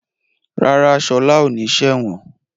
Rárá, Ṣọlá ò ní ṣe ẹ̀wọ̀n.